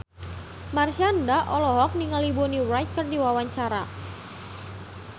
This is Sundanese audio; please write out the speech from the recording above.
Marshanda olohok ningali Bonnie Wright keur diwawancara